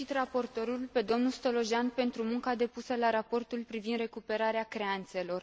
felicit raportorul, pe domnul Stolojan, pentru munca depusă la raportul privind recuperarea creanțelor.